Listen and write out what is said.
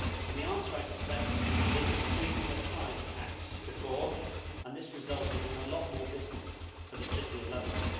The answer, I suspect, is that Sweden has tried such a tax before and it resulted in a lot more business for the City of London.